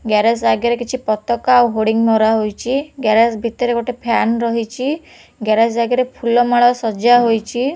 Garage ଆଗରେ କିଛି ପତକା ଆଉ ହୋର୍ଡିଂ ମରା ହୋଇଛି ଗ୍ୟାରେଜ୍ ଭିତରେ ଗୋଟେ ଫ୍ୟାନ୍ ରହିଛି ଗ୍ୟାରେଜ୍ ଆଗେରେ ଫୁଲ ମାଳ ସଜା ହୋଇଛି।